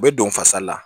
U bɛ don fasali la